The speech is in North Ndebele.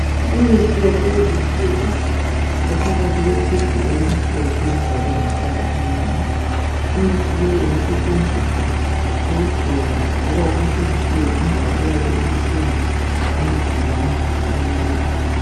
Imithi yakulezi nsuku ephakathi kwe "tube" elimhlophe elibhalwe ngamabala amnyama imithi le ingasetshenziswa ukugcoba loba ukuhlikihlela indawo eyabe ibuhlungu emzimbeni womuntu.